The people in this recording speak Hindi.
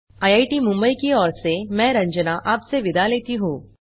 आईआईटी मुंबई की ओर सेमैं आपसे विदा लेती हूँ